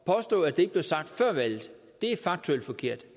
påstå at det ikke blev sagt før valget er faktuelt forkert